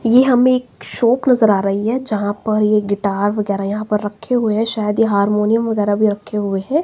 ये हमें एक शॉप नजर आ रही है जहां पर ये गिटार वगैरह यहां पर रखे हुए हैं शायद ये हार्मोनियम वगैरह भी रखे हुए है।